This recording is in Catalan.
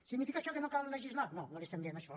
significa això que no cal legislar no no li estem dient això